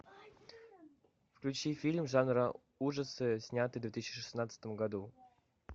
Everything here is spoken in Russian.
включи фильм жанра ужасы снятый в две тысячи шестнадцатом году